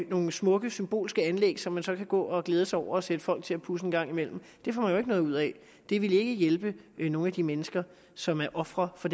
nogle smukke symbolske anlæg som man så kan gå og glæde sig over og sætte folk til at pudse en gang imellem det får man jo ikke noget ud af det vil ikke hjælpe nogen af de mennesker som er ofre for